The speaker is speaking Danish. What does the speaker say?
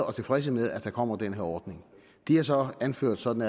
og tilfredse med at der kommer den her ordning de har så anført sådan